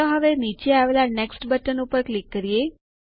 ચાલો હવે નીચે આવેલા નેક્સ્ટ બટન ઉપર ક્લિક કરીએ